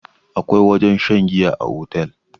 akwai wajen shan giya a otal